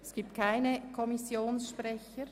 – Das ist nicht der Fall.